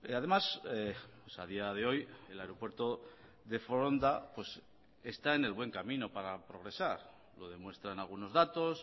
además a día de hoy el aeropuerto de foronda está en el buen camino para progresar lo demuestran algunos datos